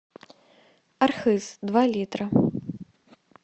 архыз два литра